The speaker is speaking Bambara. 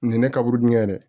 Nin ye ne ka wurudi ye dɛ